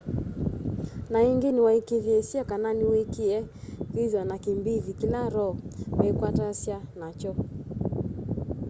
na ingi niwaikiithisye kana niwikiie kwithwa na kimbithi kila roe meekwatasya nakyo